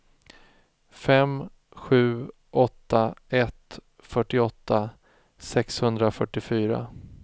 fem sju åtta ett fyrtioåtta sexhundrafyrtiofyra